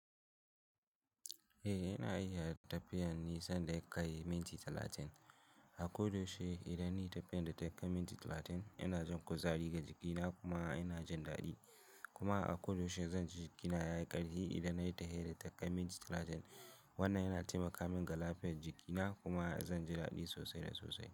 Eh, ina iya tafiyan nisan da yakai minti talatin. A koyaushe idan nayi tafiyan da ta kai minti talatin, ina jin kuzari ga jikina kuma ina jin daɗi. Kuma a koyaushe zan ji jikina ya yi ƙarfi idan nayi ta tafiyan da ta kai minti talatin. Wannan yana taimaka min ga lafiyar jikina kuma zan ji daɗi sosai da sosai.